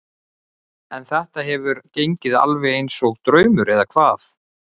En þetta hefur gengið alveg eins og draumur eða hvað?